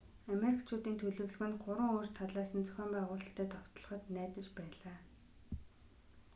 амеркчуудын төлөвлөгөө нь 3 өөр талаас нь зохион байгуулалттай довтлоход найдаж байлаа